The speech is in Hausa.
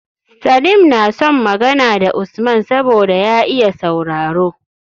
Salim na son Magana da Usman saboda ya iya sauraro